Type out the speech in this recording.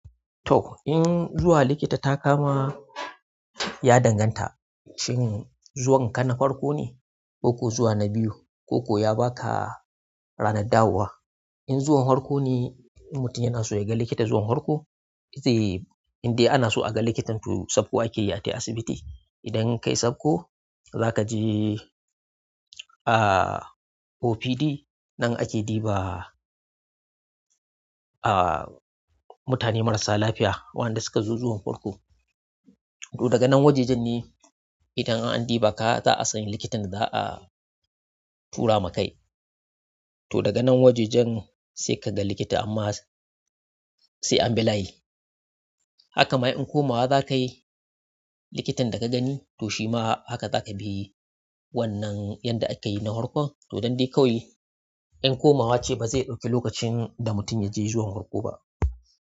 To, in zuwa likita ta kama ya danganta, shin zuwan kana farko ne, ko kuwa zuwa na biyu, ko kuwa ya baka ranar dawowa. In zuwan farko ne, mutum yana so ya ga likita zuwan farko, ita e-- inda ana so a ga likitan to sakko ake atai asibiti. Idan kai sakko zakaje ah opd anan ake ɗiba ah mutane marasa lafiya wa'anda suka zo ɗiban farko to daga nan wajajen ne idan an ɗiba ka za a san likitan da za a tura maka kai. To daga nan wajajen sai ka ga likita amma sai an bi layi. Haka ma in komawa za ka yi likitan da ka gani to shi ma haka za ka bi wannan yanda akayi na farko. To don dai kawai in komawa ce ba zai ɗauki lokacin da mutum ya je zuwan farko ba.